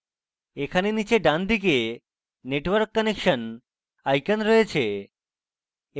এখানে নীচে ডানদিকে network connection icon রয়েছে